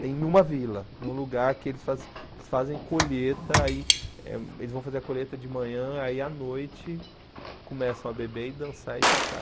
Tem numa vila, num lugar que eles faz eles fazem colheta, aí eh eles vão fazer a colheita de manhã, aí à noite começam a beber e dançar e tocar.